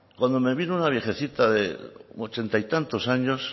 cuando me vino una viejecita de ochenta y tantos años